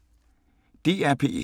DR P1